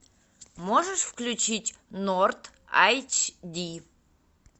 можешь включить норд айч ди